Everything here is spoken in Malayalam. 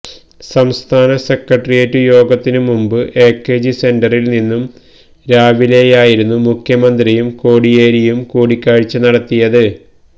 സംസ്ഥാന സെക്ര ട്ടറിയേറ്റു യോഗത്തിനു മുമ്പ് എകെജി സെന്ററില് ഇന്നു രാവി ലെ യായിരുന്നു മുഖ്യമന്ത്രിയും കോടിയേരിയും കൂടിക്കാഴ്ച നടത്തിയത്